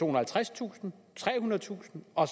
og halvtredstusind trehundredetusind og